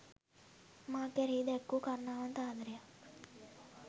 මා කෙරෙහි දැක් වූ කරුණාවන්ත, ආදරයත්